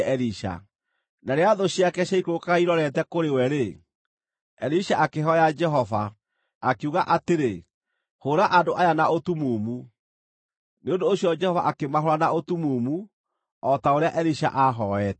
Na rĩrĩa thũ ciake ciaikũrũkaga irorete kũrĩ we-rĩ, Elisha akĩhooya Jehova, akiuga atĩrĩ, “Hũũra andũ aya na ũtumumu.” Nĩ ũndũ ũcio Jehova akĩmahũũra na ũtumumu, o ta ũrĩa Elisha aahooete.